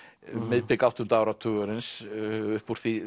um miðbik áttunda áratugarins upp úr